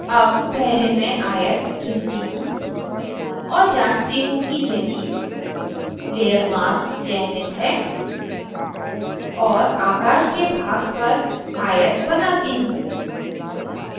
अब पहले मैं आयत चुनती हूँ और जाँचती हूँ यदि layer mask चयनित है और आकाश के भाग पर आयत बनाती हूँ